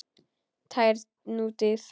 Tær nútíð.